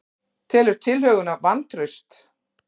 Telur tillöguna vantraust